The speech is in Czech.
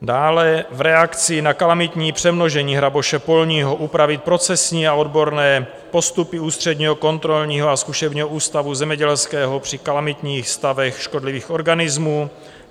Dále - v reakci na kalamitní přemnožení hraboše polního upravit procesní a odborné postupy Ústředního kontrolního a zkušebního ústavu zemědělského při kalamitních stavech škodlivých organismů.